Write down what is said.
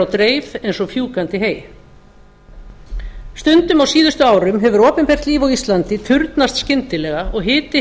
dreif eins og fjúkandi hey stundum á síðustu árum hefur opinbert líf á íslandi turnast skyndilega og hiti